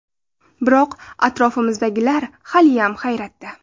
Biroq, atrofimizdagilar haliyam hayratda”.